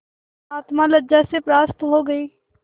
आत्मा लज्जा से परास्त हो गयी